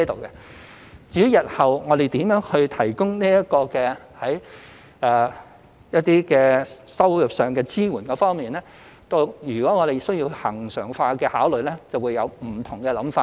至於日後如何提供一些收入上的支援，如需考慮恆常化，便會有不同的想法。